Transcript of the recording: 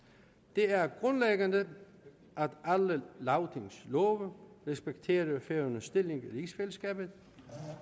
det er grundlæggende at alle lagtingslove respekterer færøernes stilling i rigsfællesskabet